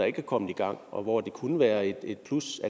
ikke er kommet i gang og hvor det kunne være et plus